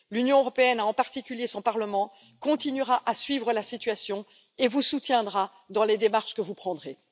L'Union européenne, et en particulier son Parlement, continuera à suivre la situation et vous soutiendra dans les démarches que vous mènerez.